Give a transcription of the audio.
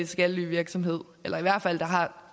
skattelyvirksomhed eller i hvert fald